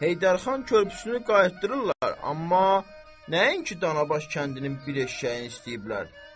Heydər xan körpüsünü qaytarırlar, amma nəinki Danabaş kəndinin bir eşşəyini istəyiblər.